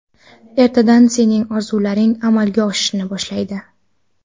Ertadan sening orzularing amalga oshishni boshlaydi.